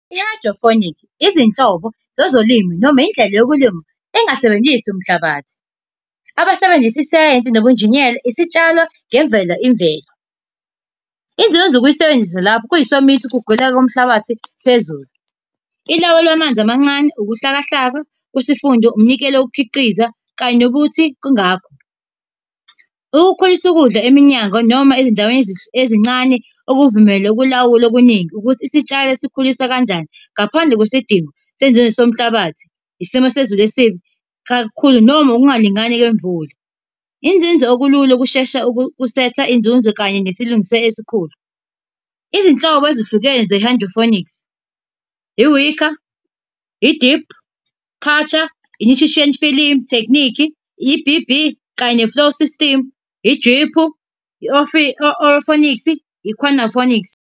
I-hydroponics Izinhlobo zezolimi noma indlela yokulima engasebenzisi umhlabathi. Abasebenzisa isayensi, nobunjiniyela, isitshalo ngemvelo, imvelo. izinzuzo zokuyisebenzisa lapho kuyisomiso ukuguleka komhlabathi phezulu. Ilawula amanzi amancane, ukuhlaka hlaka kwesifunda, umnikelo wokukhiqiza kanye nokuthi kungakho. Ukukhulisa ukudla eminyango noma ezindaweni ezincane, ukuvumela ukulawula okuningi ukuthi isitshalo sikhuliswa kanjani ngaphandle kwesidingo senzuzo somhlabathi. Isimo sezulu esibi, kakhulu noma ukungalingani kwemvula. Inzuzo okulula ukushesha kusetha inzuzo, kanye nesilungiso esikhulu. Izinhlobo ezahlukene ze-hydroponics, i-wick, i-deep culture, i-nutrition film fechnique, i-E_B_B kanye ne-flow system, i-drip, i-aeroponics .